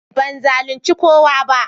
Ban zalunci kowa ba.